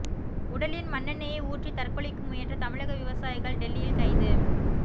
உடலில் மண்ணெண்ணெயை ஊற்றி தற்கொலைக்கு முயன்ற தமிழக விவசாயிகள் டெல்லியில் கைது